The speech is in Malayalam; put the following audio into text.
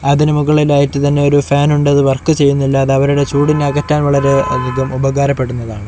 അതിന് മുകളിലായിറ്റ് തന്നെ ഒരു ഫാൻ ഉണ്ട് അത് വർക്ക് ചെയ്യുന്നില്ല അത് അവരുടെ ചൂടിനെ അകറ്റാനുള്ള ഒരു വിധം ഉപകാരപെടുന്നതാണ്.